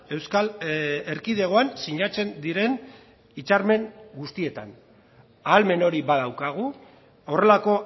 euskal erkidegoan sinatzen diren hitzarmen guztietan ahalmen hori badaukagu horrelako